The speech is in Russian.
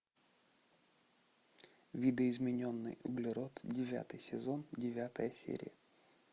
видоизмененный углерод девятый сезон девятая серия